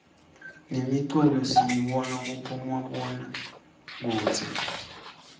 nemiculo siyibona kubomabonakudze